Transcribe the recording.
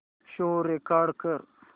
show record कर